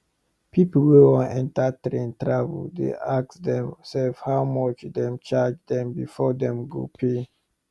pipo wey wan enta train travel dey ask dem sefs how much dem charge dem before dem go pay